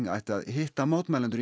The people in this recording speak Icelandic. ætti að hitta mótmælendur